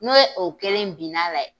N'o ye o kelen binna la